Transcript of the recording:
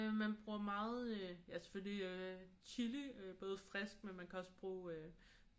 Øh man bruger meget ja selvfølgelig chili både frisk men man kan også bruge